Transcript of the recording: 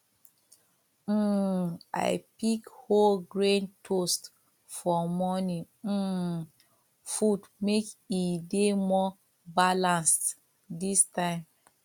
um i pick whole grain toast for morning um food make e dey more balanced this time